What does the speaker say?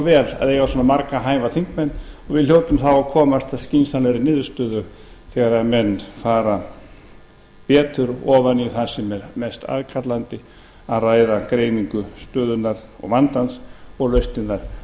vel að eiga svona marga hæfa þingmenn og við hljótum þá að komast að skynsamlegri niðurstöðu þegar menn fara betur ofan í það sem er mest aðkallandi að ræða greiningu stöðunnar og vandans og lausnirnar